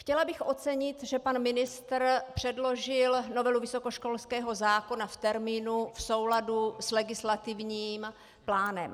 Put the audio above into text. Chtěla bych ocenit, že pan ministr předložil novelu vysokoškolského zákona v termínu, v souladu s legislativním plánem.